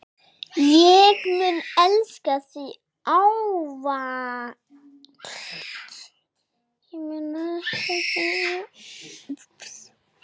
Ég mun elska þig ávallt.